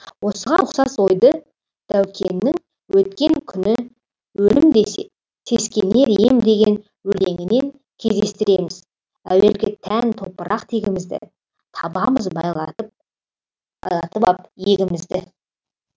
осыған ұқсас ойды дәукеңнің өткен күні өлім десе сескенер ем деген өлеңінен кездестіреміз әуелгі тән топырақ тегімізді табамыз байлатып байланып ап иегімізді